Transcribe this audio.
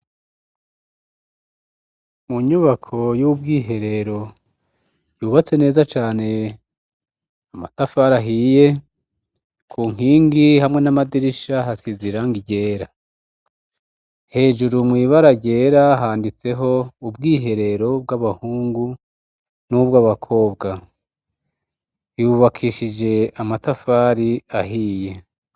Mu nyubako y'ubwiherero yubatse neza cane, amatafari ahiye, ku nkingi hamwe n'amadirisha hasize irangi ryera. Hejuru mw'ibara ryera handitseho "ubwiherero bw'abahungu n'ubw'abakobwa". Yubakishije amatafari ahiye.